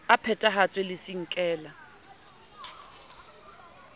e phethahatswe le c nkela